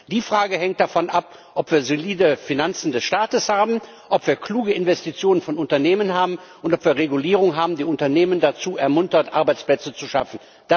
Die Frage hängt davon ab, ob wir solide Finanzen des Staates haben, ob wir kluge Investitionen von Unternehmen haben und ob wir Regulierungen haben, die Unternehmen dazu ermuntern, Arbeitsplätze zu schaffen.